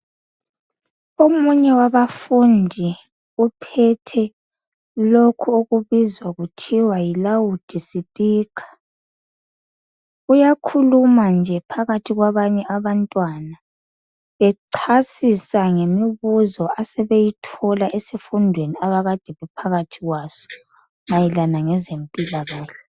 Omunye wabafundi uphethe lokhu okubizwa kuthiwa yilawudi sipikha uyakhuluma nje phakathi kwabanye abantwana echasisa ngemibuzo asebeyithola esifundweni abakade bephakathi kwaso mayelana ngezempilakahle.